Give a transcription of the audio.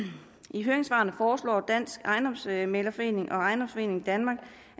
i høringssvarene foreslår dansk ejendomsmæglerforening og ejendomsforeningen danmark